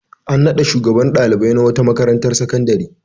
An naɗa shugaban ɗalibai na wata makarantar sakandare.